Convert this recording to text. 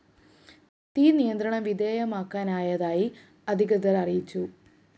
തീ നിയന്ത്രണ വിധേയമാക്കാനായതായി അധികൃതര്‍ അറിയിച്ചു